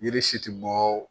Yiri si tɛ bɔ